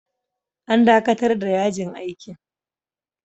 An dakatar da yajin aikin.